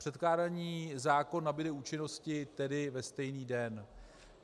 Předkládaný zákon nabude účinnosti tedy ve stejný den.